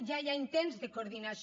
ja hi ha intents de coordinació